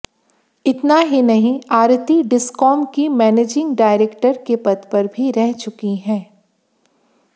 इतना ही नहीं आरती डिस्कॉम की मैनेजिंग डायरेक्टर के पद पर भी रह चुकी हैं